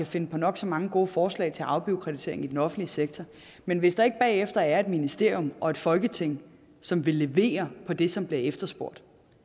finde på nok så mange gode forslag til afbureaukratisering i den offentlige sektor men hvis der ikke bagefter er et ministerium og et folketing som vil levere på det som bliver efterspurgt